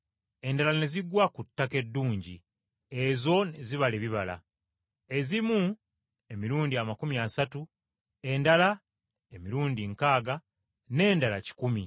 Endala ne zigwa ku ttaka eddungi, ezo ne zibala ebibala, ezimu emirundi amakumi asatu, endala emirundi nkaaga, n’endala kikumi.”